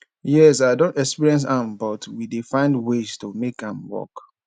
yes i don experience am but we dey find ways to make am work